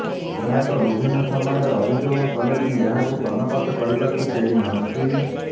ଗ୍ରାହକ ବିଭିନ୍ନ ସମୟରେ ଅଭିଯୋଗ କଲେ ବି ଏହାକୁ କର୍ଣ୍ଣପାତ କରିବାକୁ କେହି ନାହାନ୍ତି